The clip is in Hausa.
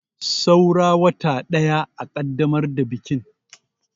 Saura wata ɗaya a kaddamar da bikin.